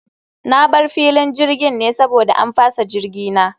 Na bar filin jirgin ne saboda an fasa jirgi na